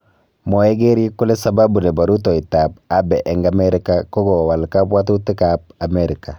Mwae keriik kole sababu nebo rutoitab Abe eng Amerika ko kowal kabwotutik ab amerika